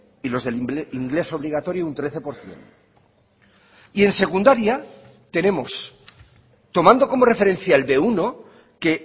y los del inglés obligatorio un trece por ciento y en secundaria tenemos tomando como referencia el be uno que